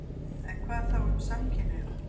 En hvað þá um samkynhneigða?